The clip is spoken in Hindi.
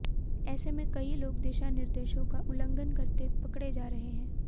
ऐसे में कई लोग दिशा निर्देशों का उल्लंधन करते पकड़े जा रहे हैं